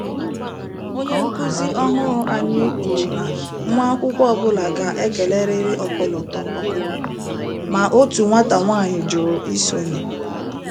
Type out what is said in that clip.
Onye nkụzi ọhụrụ anyị kwuru na nwa akwụkwọ ọ bụla ga - ekelerịrị ọkọlọtọ ọkọlọtọ, ma otu nwata nwanyị jụrụ isonye